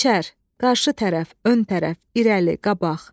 Qənşər, qarşı tərəf, ön tərəf, irəli, qabaq.